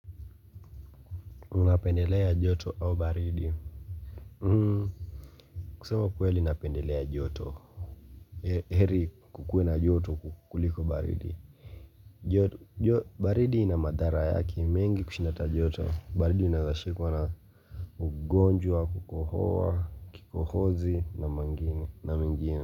Unapendelea joto au baridi? Kusema kweli napendelea joto. Heri kukuwe na joto kuliko baridi. Baridi inamadhara yake mengi kushinda ata joto. Baridi unawezashikwa na ugonjwa, wa kukohoa, kikohozi na mengine.